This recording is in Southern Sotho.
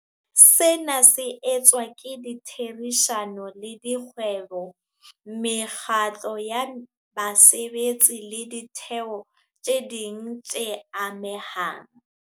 Sena se etswa ka ditherisano le dikgwebo, mekgatlo ya basebetsi le ditheo tse ding tse amehang.